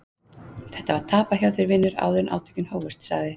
Þetta var tapað hjá þér vinur áður en átökin hófust, sagði